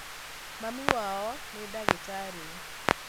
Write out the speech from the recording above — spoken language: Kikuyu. Mami wao nĩ ndagĩtarĩ